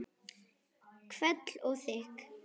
Hvell og þykk.